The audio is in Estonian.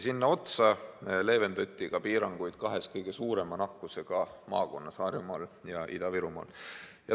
Kõige tipuks leevendati piiranguid ka kahes kõige suurema nakatumisega maakonnas: Harjumaal ja Ida-Virumaal.